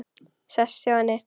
Sest hjá henni.